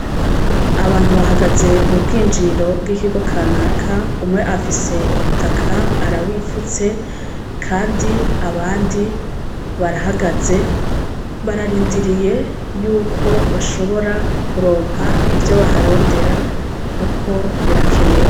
Abantu bahagaze mu bwinjiriro bw'ikigo kanaka, umwe afise umutaka arawifutse kandi abandi barahagaze bararindiriye yuko bashobora kuronka ivyo baharondera kuko birakenewe.